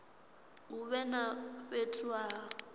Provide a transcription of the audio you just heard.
hu vhe na fhethu ha